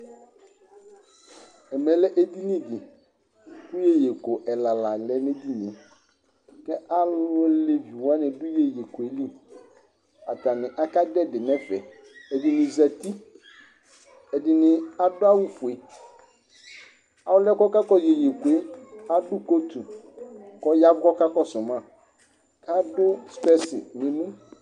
ɛmɛ lɛ edini di ku iyeyeko ɛla la lɛ n'ediníe, alu aleviwani la dù iyeyekɔɛ li, atani aka dù ɛdi n'ɛfɛ ɛdini zati, ɛdini adu awù fue, ɔluɛ k'ɔka kɔsu eyieyekoe adu kotu k'ɔya kɔka kɔsu ma k'adu sipɛsi n'emù